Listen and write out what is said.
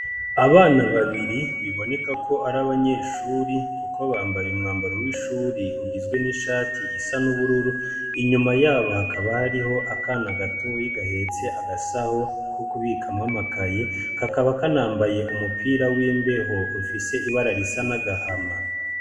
Abana babiri biboneka ko ari abanyeshuri, kuko bambaye umwambaro w'ishuri ugizwe n'ishati isa n'ubururu inyuma yabo hakaba hariho akana gatoyi gahetse agasaho ko kubikamwamakaye kakaba kanambaye umupira w'imbeho ufise ibara risa n'agahama.